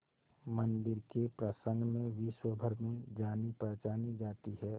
मंदिर के प्रसंग में विश्वभर में जानीपहचानी जाती है